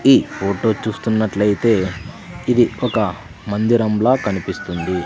ఈ ఫోటో చూస్తున్నట్లయితే ఇది ఒక మందిరంలా కనిపిస్తుంది.